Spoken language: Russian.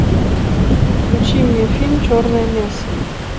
включи мне фильм черная месса